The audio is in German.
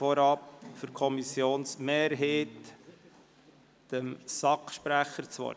Für die Kommissionsmehrheit gebe ich dem Sprecher der SAK das Wort.